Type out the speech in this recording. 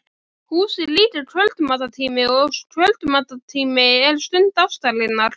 Hús er líka kvöldmatartíminn og kvöldmatartíminn er stund ástarinnar.